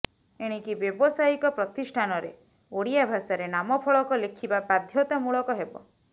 ଏଣିକି ବ୍ୟବସାୟିକ ପ୍ରତିଷ୍ଠାନରେ ଓଡିଆ ଭାଷାରେ ନାମଫଳକ ଲେଖିବା ବାଧ୍ୟତାମୂଳକ ହେବ